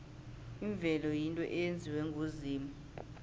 imvelo yinto eyenziwe nguzimu